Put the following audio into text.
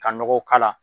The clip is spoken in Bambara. Ka nɔgɔ k'a la